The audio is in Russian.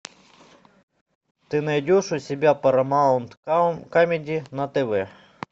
ты найдешь у себя парамаунт камеди на тв